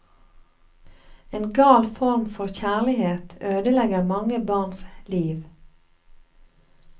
En gal form for kjærlighet ødelegger mange barns liv.